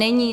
Není.